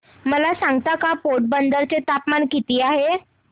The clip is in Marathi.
मला सांगता का पोरबंदर चे तापमान किती आहे